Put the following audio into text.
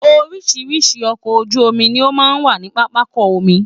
oríṣìíríṣìí ọkọ̀ ojú omi ni ó máa ń wà ní pápákọ omi